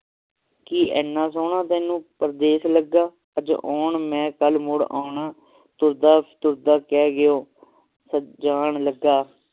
ਕਿ ਇਹਨਾ ਸੋਹਣਾ ਤੈਨੂੰ ਪਰਦੇਸ ਲੱਗਾ ਅਜ ਆਉਣਾ ਮੈਂ ਕਲ ਮੁੜ ਆਉਣਾ ਤੁਰਦਾ ਤੁਰਦਾ ਕਹਿ ਗਏ ਓ ਜਾਣ ਲੱਗਾ